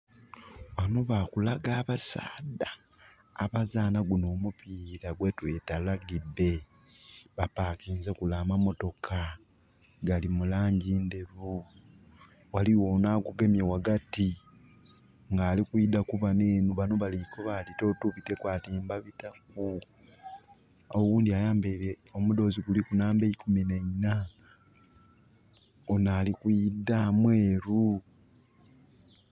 Ghano bakulaga abasaadha abazaana guno omupiira gwetweta rugby. Ba parkinze kule amamotoka gali mulangi nderu. Waliwo ono agugemye wagati nga alikwidda kubano enho. Bano balikoba totubiteku, ati mbabitaku. Owundi ayambaire omudoozi nga guliku namba 14, ono alikwidda mweru